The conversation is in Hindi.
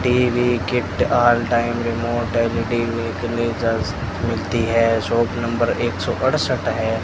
TV kit all time remote LED fridge मिलती है शॉप नंबर एक सो अड़सठ है।